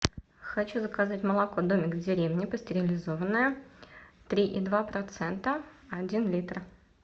хочу заказать молоко домик в деревне пастеризованное три и два процента один литр